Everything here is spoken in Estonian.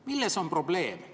Milles on probleem?